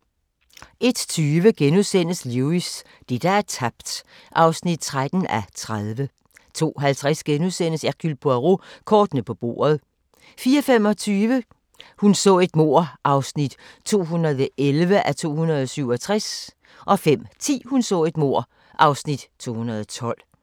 01:20: Lewis: Det, der er tabt (13:30)* 02:50: Hercule Poirot: Kortene på bordet * 04:25: Hun så et mord (211:267) 05:10: Hun så et mord (Afs. 212)